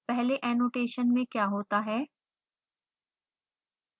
पहले annotation में क्या होता है